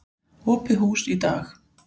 Opið hús í dag.